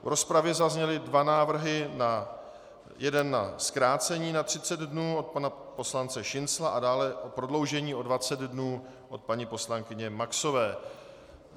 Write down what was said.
V rozpravě zazněly dva návrhy, jeden na zkrácení na 30 dnů od pana poslance Šincla a dále o prodloužení o 20 dnů o paní poslankyně Maxové.